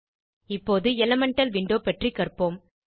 இப்போது elemental window பற்றி கற்போம்